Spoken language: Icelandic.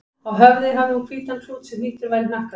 Á höfði hafði hún hvítan klút sem hnýttur var í hnakkanum.